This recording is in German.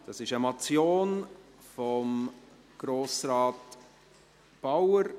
Es ist eine Motion von Grossrat Bauer.